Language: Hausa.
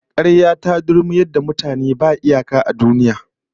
Karya ta dulmuyar da mutane ba iyaka a duniya